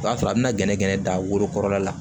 O b'a sɔrɔ a bɛna gɛnɛgɛnɛ da worokɔrɔla la